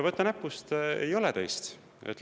Võta näpust, ei ole teist!